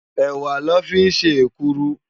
Èwá lò fi n sé ékùrú